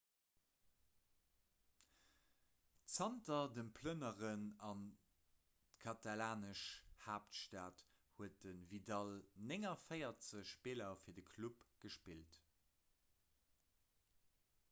zanter dem plënneren an d'katalanesch haaptstad huet de vidal 49 spiller fir de club gespillt